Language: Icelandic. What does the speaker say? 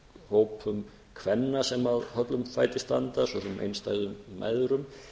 hópum kvenna sem höllum fæti standa svo sem einstæðum mæðrum